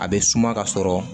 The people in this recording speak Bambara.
A bɛ suma ka sɔrɔ